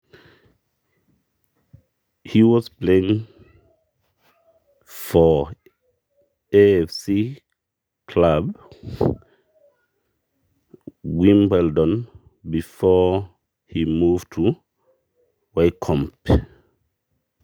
Egira apa aiguranaki enkilabu e AFC Wimbledoneton etu iduraki Wycombe.